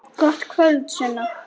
Gott kvöld, Sunna.